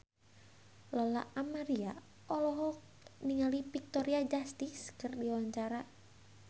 Lola Amaria olohok ningali Victoria Justice keur diwawancara